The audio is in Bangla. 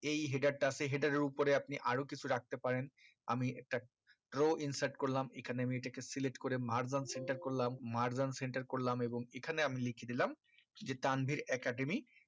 এই header টা আছে header এর উপরে আপনি আরো কিছু রাখতে পারেন আমি একটা row insert করলাম এখানে আমি এটাকে select করে margin centre করলাম margin centre করলাম এবং এখানে আমি লিখি দিলাম যে তানভীর academy